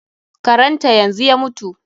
Karan ta yanzu ya mutu.